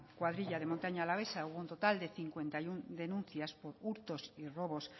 cuadrilla de montaña alavesa hubo un total de cincuenta y uno denuncias por hurtos y robos